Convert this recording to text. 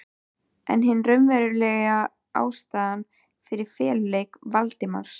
En hin raunverulega ástæða fyrir feluleik Valdimars í